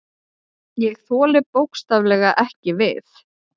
Ég þoli bókstaflega ekki við.